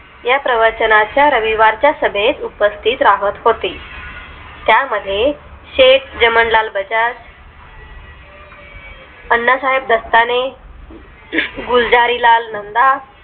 या प्रवचनाच्या रविवार च्या सभेत उपस्तित राहत होते त्यामध्ये सेठ जमनालाल बजाज अनासाहेब दास्ताने गुलजारीलाल नंदा